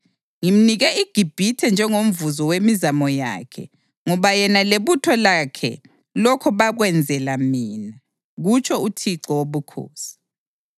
Ngimnike iGibhithe njengomvuzo wemizamo yakhe ngoba yena lebutho lakhe lokho bakwenzela mina, kutsho uThixo Wobukhosi.